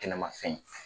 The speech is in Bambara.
Kɛnɛmafɛn